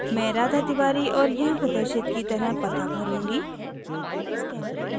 मैं राधा तिवारी और यहाँ प्रदर्शित की तरह पता भरूँगी